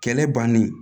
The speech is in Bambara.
Kɛlɛ bannen